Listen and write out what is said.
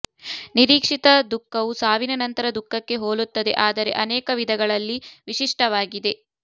ನಿರೀಕ್ಷಿತ ದುಃಖವು ಸಾವಿನ ನಂತರ ದುಃಖಕ್ಕೆ ಹೋಲುತ್ತದೆ ಆದರೆ ಅನೇಕ ವಿಧಗಳಲ್ಲಿ ವಿಶಿಷ್ಟವಾಗಿದೆ